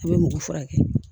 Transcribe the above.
A bɛ mɔgɔ furakɛ